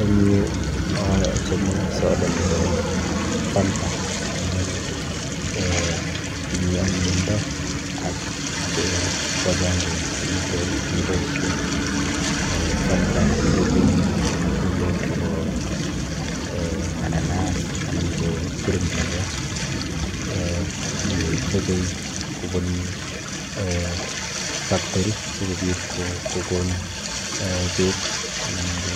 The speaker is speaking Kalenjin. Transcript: Eng yu achome soda nepo fanta amu um tinye anyinyindo ak um ko akenke eng amitwokik chekiboishe. um Fanta kechope matundek chepo[um] mananas anan ko kirindilek. um Kechope kobun um factory sikobit kokon beek anan ko